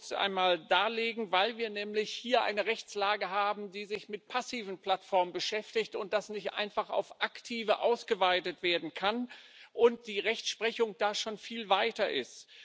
Das möchte ich kurz einmal darlegen Weil wir nämlich hier eine Rechtslage haben, die sich mit passiven Plattformen beschäftigt, das nicht einfach auf aktive ausgeweitet werden kann und die Rechtsprechung da schon viel weiter ist.